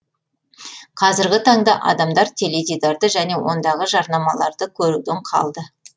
қазіргі таңда адамдар теледидарды және ондағы жарнамаларды көруден қалды